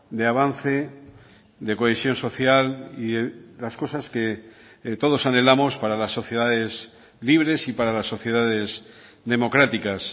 de avance de cohesión social y las cosas que todos anhelamos para las sociedades libres y para las sociedades democráticas